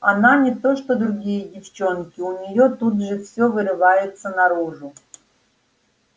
она не то что другие девчонки у неё тут же всё вырывается наружу